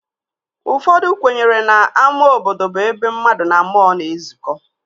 Ụfọdụ kwenyere na ama obodo bụ ebe mmadụ na mmụọ na-ezuko